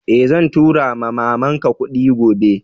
Eh, zan tura ma'mama n ka kudin gobe.